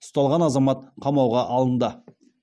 ұсталған азамат қамауға алынды